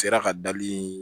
Sera ka dabiri